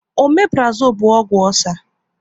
Ọmeprazole bụ ọgwụ ọcer